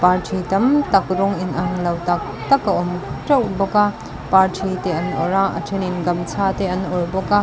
thui tam tak rawng in ang lo tak tak a awm teuh bawk a par thi te an awrh a a then in gamchha te an awrh bawk a.